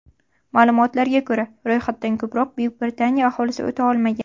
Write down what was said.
Ma’lumotlarga ko‘ra, ro‘yxatdan ko‘proq Buyuk Britaniya aholisi o‘ta olmagan.